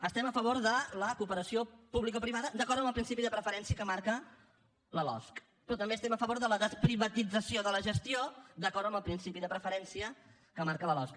estem a favor de la cooperació publicoprivada d’acord amb el principi de preferència que marca la losc però també estem a favor de la desprivatització de la gestió d’acord amb el principi de preferència que marca la losc